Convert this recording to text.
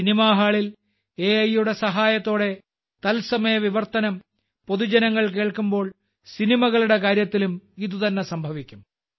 cinema ഹാളിൽ അകയുടെ സഹായത്തോടെ തത്സമയ വിവർത്തനം പൊതുജനങ്ങൾ കേൾക്കുമ്പോൾ സിനിമകളുടെ കാര്യത്തിലും ഇതുതന്നെ സംഭവിക്കും